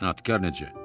İnadkar necə?